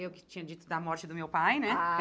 Eu que tinha dito da morte do meu pai, né? Ah